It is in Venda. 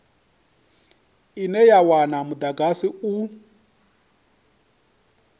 ine ya wana mudagasi u